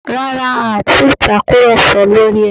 Rárá, a ò ti ì tàkùrọ̀sọ lórí ẹ̀